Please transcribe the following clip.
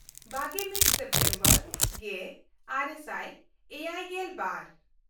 ᱵᱟᱜᱮᱼᱢᱤᱫ September ᱜᱮᱼᱟᱨᱮ ᱥᱟᱭ ᱮᱭᱟᱭᱜᱮᱞ ᱵᱟᱨ